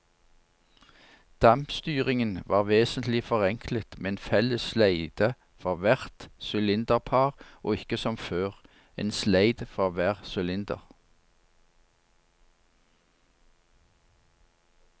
Dampstyringen var vesentlig forenklet med en felles sleid for hvert sylinderpar og ikke som før, en sleid for hver sylinder.